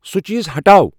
سُہ چیز ہٹاو ۔